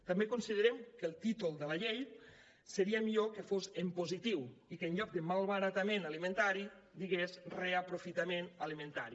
també considerem que el títol de la llei seria millor que fos en positiu i que en lloc de malbaratament alimentari digués reaprofitament alimentari